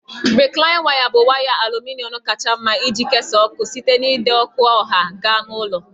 Rịklaịn waya bụ waya aluminọm kacha mma iji kesaa ọkụ site n'ide ọkụ ọha gaa na ụlọ